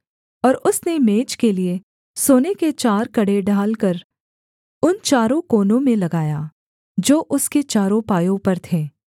और उसने मेज के लिये सोने के चार कड़े ढालकर उन चारों कोनों में लगाया जो उसके चारों पायों पर थे